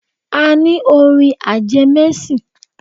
A ní orin ajẹmẹ́sìn